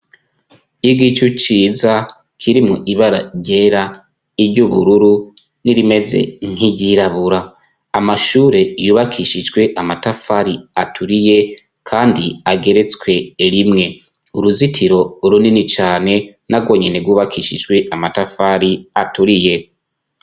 Igicu ciza kirimwo ibara ryera, iry'ubururu n'irimeze nk'iryirabura amashure yubakishijwe amatafari aturiye kandi ageretswe rimwe uruzitiro runini cane narwo nyene rwubakishijwe amatafari aturiye.